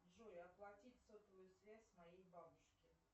джой оплатить сотовую связь моей бабушки